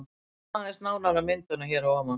Víkjum aðeins nánar að myndunum hér að ofan.